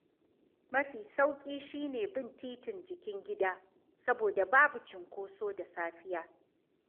Mafi sauƙi shi ne bin titin Jikin Gida, saboda babu cunkoso da safiya.